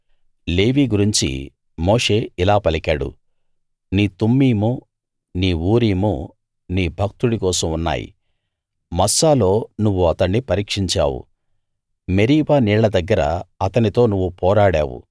లేవీ గురించి మోషే ఇలా పలికాడు నీ తుమ్మీము నీ ఊరీము నీ భక్తుడి కోసం ఉన్నాయి మస్సాలో నువ్వు అతణ్ణి పరీక్షించావు మెరీబా నీళ్ల దగ్గర అతనితో నువ్వు పోరాడావు